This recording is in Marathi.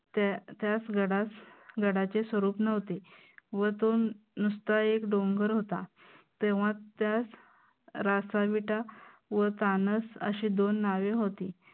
त्यास गडा गडाचे स्वरूप नव्हते व तो नुसता एक डोंगर होता. तेव्हा त्यास रासाविटा व तानस अशी दोन नावे होती.